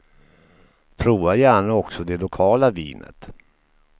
Prova gärna också det lokala vinet.